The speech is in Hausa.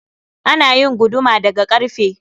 Ana yin guduma da ga karfe